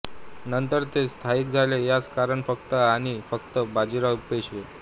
नंतर ते स्थायिक झाले यास कारण फक्त आणि फक्त बाजीराव पेशवे